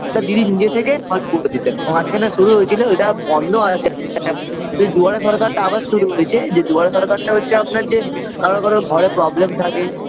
তা দিদি নিজে থেকে solve করে দিতেন মাঝখানে শুরু হয়েছিল এটা বন্ধ আছে দুয়ারে সরকারটা আবার শুরু হইচে যে দুয়ারে সরকারটা হচ্ছে আপনার যে কারোর কারোর ঘরে problem থাকে